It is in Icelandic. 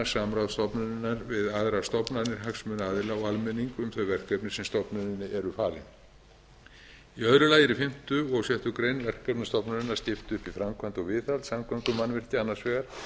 stofnunarinnar við hagsmunaaðila og almenning um þau verkefni sem stofnuninni eru falin í öðru lagi eru í fimmta og sjöttu grein verkefna stofnunarinnar skipt upp í framkvæmd og viðhald samgöngumannvirkja annars vegar